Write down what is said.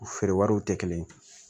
U feere wariw tɛ kelen ye